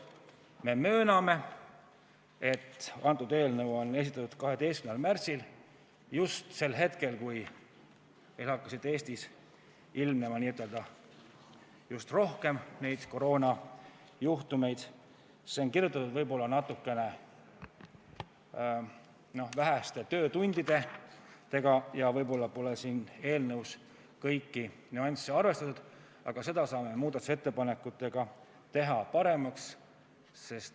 Me mööname, et kuna eelnõu on esitatud 12. märtsil – just sel hetkel, kui meil hakkas Eestis ilmnema rohkem koroonajuhtumeid –, on see kirjutatud liiga väheste töötundidega ja võib-olla pole siin kõiki nüansse arvestatud, aga seda kõike saame muudatusettepanekutega paremaks teha.